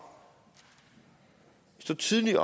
stå tidligt